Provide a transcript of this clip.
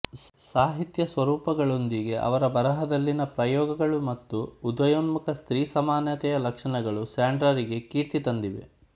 ಸಾಹಿತ್ಯ ಸ್ವರೂಪಗಳೊಂದಿಗೆ ಅವರ ಬರಹದಲ್ಲಿನ ಪ್ರಯೋಗಗಳು ಮತ್ತು ಉದಯೋನ್ಮುಖ ಸ್ತ್ರೀ ಸಮಾನತೆಯ ಲಕ್ಷಣಗಳು ಸಾಂಡ್ರಾರಿಗೆ ಕೀರ್ತಿ ತಂದಿವೆ